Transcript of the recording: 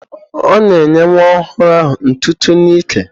Ọ na-enye nwa ọhụrụ ahụ ntụtụ n'ike.